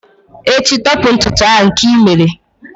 echi, tọpu ntutu a nke i mere!